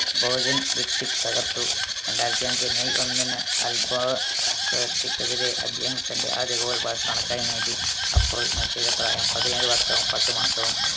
Bhojan cricket തകർത്തു രണ്ടായിരത്തി അഞ്ചു മെയ് ഒന്നിന് അൽബാ ക്കെതിരെ അദ്ദേഹം തൻറെ ആദ്യ goal ബാഴ്‌സലോണക്കായി നേടി അപ്പൊൾ മെസ്സിയുടെ പ്രായം പതിനേഴ് വർഷവും പത്ത് മാസവും